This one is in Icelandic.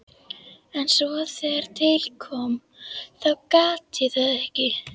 En svo þegar til kom þá gat ég það ekki.